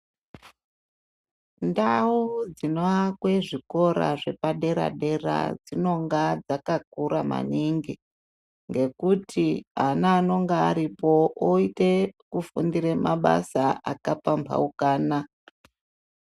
Ndau dzinoakwe zvikora zvepadera-dera dzinonga dzakakura maningi. Ngekuti ana anonge aripo achite kufundire mabasa akapambaukana.